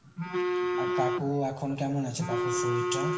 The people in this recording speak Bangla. আর কাকু এখন কেমন আছে? কাকুর শরীর টা?